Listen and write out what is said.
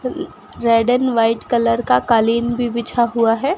Red and white colour का कालीन भी बिछा हुआ है।